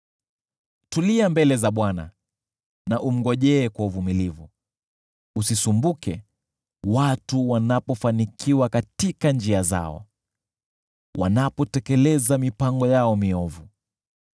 Tulia mbele za Bwana na umngojee kwa uvumilivu; usisumbuke watu wanapofanikiwa katika njia zao, wanapotekeleza mipango yao miovu.